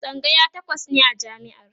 tsangaya takwas ne a jami'ar